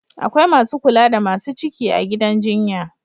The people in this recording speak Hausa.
Akwai Masu kula da Masu ciki a gidan jjinya